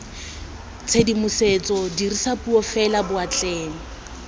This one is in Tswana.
tshedimosetso dirisa puo fela boatleng